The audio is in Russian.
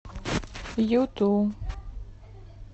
юту